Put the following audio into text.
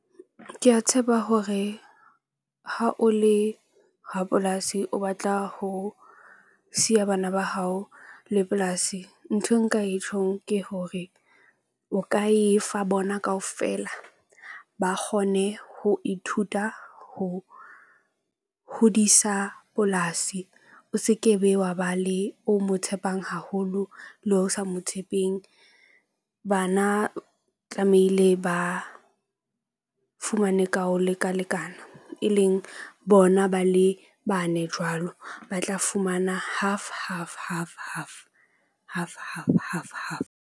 Ke a tshepa hore ha o le rapolasi o batla ho siya bana ba hao le polasi nthwe nka e tjhong ke hore o ka e fa bona kaofela ba kgone ho ithuta ho hodisa polasi. O se ke be, wa ba le o mo tshepang haholo le ho sa mo tshepeng. Bana tlamehile ba fumane ka ho lekalekana, e leng bona, ba le bane jwalo ba tla fumana half half half half half half half half.